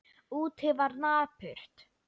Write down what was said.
Úti var napurt.